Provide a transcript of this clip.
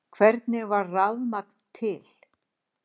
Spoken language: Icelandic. Hvernig varð rafmagn til?